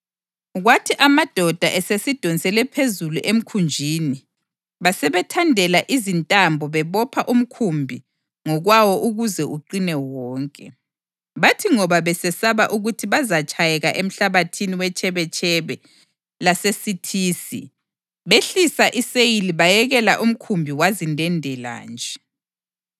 Kwathi amadoda esesidonsele phezulu emkhunjini, basebethandela izintambo bebopha umkhumbi ngokwawo ukuze uqine wonke. Bathi ngoba besesaba ukuthi bazatshayeka emhlabathini wetshebetshebe laseSithisi, behlisa iseyili bayekela umkhumbi wazindendela nje.